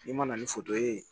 N'i ma na ni foto ye